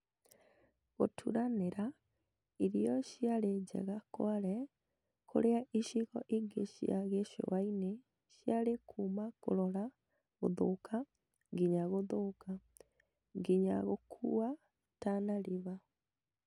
Gũturanĩra, irio ciarĩ njega Kwale, kũrĩa icigo ingĩ cia gĩcũa-inĩ ciarĩ kuuma kũrora gũthũka nginga gũthũka , nginya gũkua Tana River